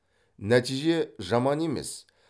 нәтиже жаман емес